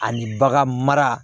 Ani bagan mara